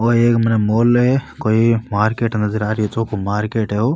ओ एक मने मॉल है कोई मार्केट नजर आ रियो चोको मार्केट है ओ।